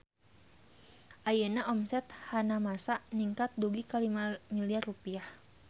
Ayeuna omset Hanamasa ningkat dugi ka 5 miliar rupiah